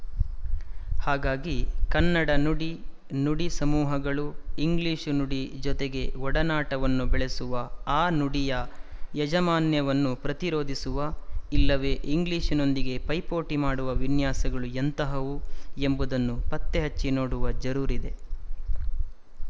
ಹಾಗಾಗಿ ಕನ್ನಡ ನುಡಿನುಡಿ ಸಮೂಹಗಳು ಇಂಗ್ಲಿಶು ನುಡಿ ಜೊತೆಗೆ ಒಡನಾಟವನ್ನು ಬೆಳೆಸುವ ಆ ನುಡಿಯ ಯಜಮಾನ್ಯವನ್ನು ಪ್ರತಿರೋಧಿಸುವ ಇಲ್ಲವೇ ಇಂಗ್ಲಿಶಿನೊಂದಿಗೆ ಪೈಪೋಟಿ ಮಾಡುವ ವಿನ್ಯಾಸಗಳು ಎಂತಹವು ಎಂಬುದನ್ನು ಪತ್ತೆಹಚ್ಚಿ ನೋಡುವ ಜರೂರಿದೆ